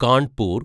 Kanpur